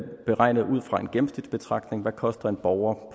beregnet ud fra en gennemsnitsbetragtning hvad koster en borger